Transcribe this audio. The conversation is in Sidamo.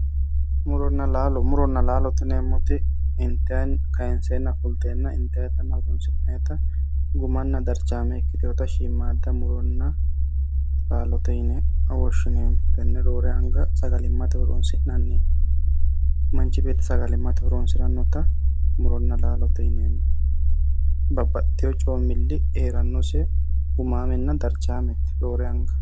Muronna laalo, muronna laalo yinneemmo woyte intanninna kayinsenna fulittanotenna ittate horonsi'neemmote gumamenna darichame ikkitinotta shiimada murore laalote yinneemmo, roore anga sagalimmate horonsi'neemmo ,manchi beetti sagalimmate horonsiranotta muronna laalote yinneemmo, babbaxxitto coomili heeranose gumamenna darchamete roore anga.